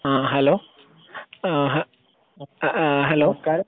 ആഹ് hello ആഹ് ഏഹ് hello നമസ്ക്കാരം